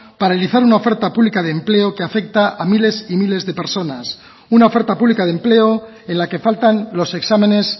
paralizar una oferta pública de empleo que afecta a miles y miles de personas una oferta pública de empleo en la que faltan los exámenes